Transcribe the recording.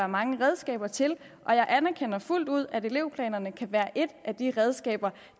mange redskaber til og jeg anerkender fuldt ud at elevplanerne kan være et af de redskaber